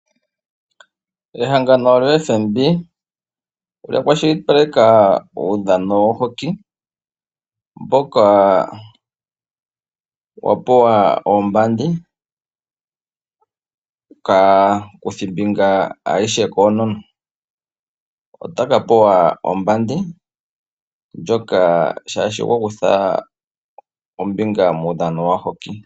Ehangano lyoFNB olya kwashilipaleka uudhano wohoki mboka wa pewa oombandi kaakuthimbinga ayehe koonona. Ota ya ka pewa oombandi shaashi oya kutha ombinga muudhano wohoki.